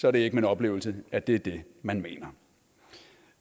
er det ikke min oplevelse at det er det man mener